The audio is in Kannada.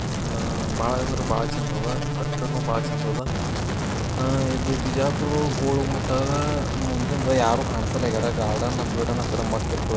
ಆ-ಬಾಳಾ ಅಂದ್ರ ಬಾಳಾ ಚಂದದ ಕಟ್ಟಡ್ನ್ನು ಬಾಳ್ ಚಂದದ ಆ-ಇದು ಬಿಜಾಪುರ್ದು ಗೋಲಗುಮ್ಮಟ್ ಅದಾ ಮುಂದಂದ್ಯಾರು ಕಾಣಿಸಲಾಗ್ಯಾರ ಗಾರ್ಡನ್ ಅತ್ರೇನ ಮಸ್ತ್ ಇರ್ತದ.